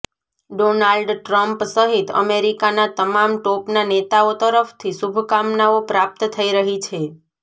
Donald Trump સહિત અમેરિકાનાં તમામ ટોપનાં નેતાઓ તરફથી શુભકામનાઓ પ્રાપ્ત થઇ રહી છે